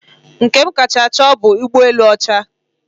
Nke m kacha chọọ bụ ụgbọelu ọcha.